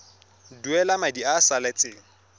duela madi a a salatseng